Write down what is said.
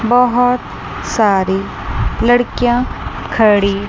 बहोत सारी लड़कियां खड़ी--